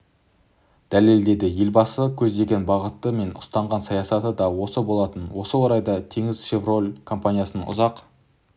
дәлелдеді елбасының көздеген бағыты мен ұстанған саясаты да осы болатын осы орайда теңізшевройл компаниясының ұзақ